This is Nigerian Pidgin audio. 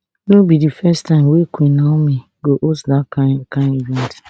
dis no be di first time wey queen naomi go host dat kain kain event